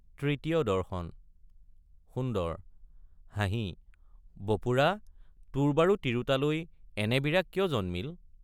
তৃতীয় দৰ্শন সুন্দৰ— হাঁহি বপুৰা তোৰ বাৰু তিৰোতালৈ এনে বিৰাগ কিয় জন্মিল?